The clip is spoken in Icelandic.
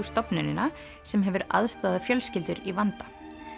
stofnunina sem hefur aðstoðað fjölskyldur í vanda